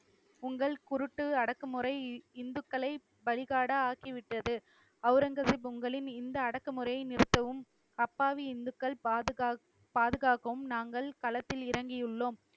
உங்கள் குருட்டு அடக்குமுறை இந்துக்களை பலிகடா ஆக்கிவிட்டது. அவுரங்கசீப் உங்களின் இந்த அடக்குமுறையை நிறுத்தவும் அப்பாவி இந்துக்கள் பாதுகாக்~ பாதுகாக்கவும் நாங்கள் களத்தில் இறங்கியுள்ளோம்.